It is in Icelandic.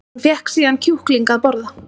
Hún fékk síðan kjúkling að borða